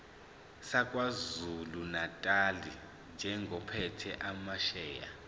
sakwazulunatali njengophethe amasheya